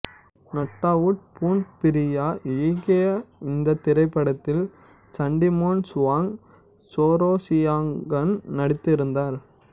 Nattawut Poonpiriya இயக்கிய இந்தத் திரைப்படத்தில் சட்டிமோன் சுவாங் சோரோசியாகன் நடித்திருந்தார்